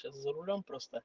час за рулём просто